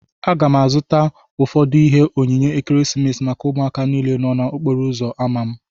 Aga m azụta ụfọdụ ihe onyinye ekeresimesi maka ụmụaka niile nọ n'okporo uzo ámá m